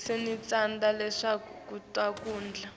sineticandzisa lesibeka kuto kudla